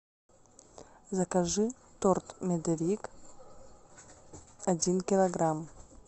закажи торт медовик один килограмм